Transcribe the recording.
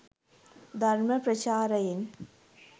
ධර්ම ප්‍රචාරයෙන්